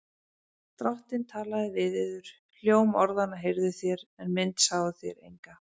Drottinn talaði við yður. hljóm orðanna heyrðuð þér, en mynd sáuð þér enga.